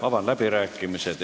Avan läbirääkimised.